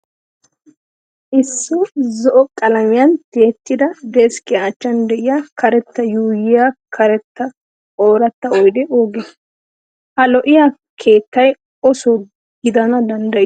Issi zo'o qalamiyan tiyettida deskkiya achchan de'iya karetta yuuyyiya karetta ooratta oyidee oogee? Ha lo'iya keettay o Soo gidana danddayi?